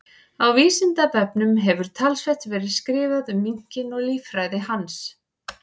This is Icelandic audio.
Á Vísindavefnum hefur talsvert verið skrifað um minkinn og líffræði hans.